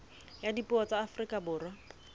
ya dipuo tsa afrika borwa